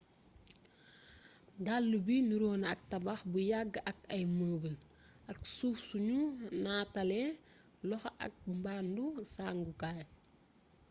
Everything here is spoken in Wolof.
dallu bi niru na ak tabax bu yàgg ak ay mëbal, ak suuf sunu nataalee loxo ak mbàndu sàngukaay